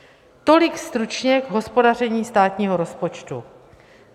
Tolik stručně k hospodaření státního rozpočtu.